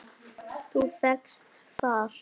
Þú fékkst far?